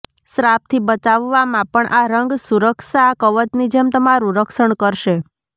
શ્રાપથી બચાવવામાં પણ આ રંગ સુરક્ષા કવચની જેમ તમારું રક્ષણ કરશે